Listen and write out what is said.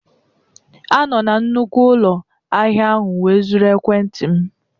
A nọọ na nnukwu ụlọ ahịa ahụ wee zuru ekwentị m.